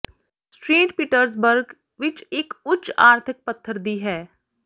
street Petersburg ਵਿੱਚ ਇੱਕ ਉੱਚ ਆਰਥਿਕ ਪੱਧਰ ਦੀ ਹੈ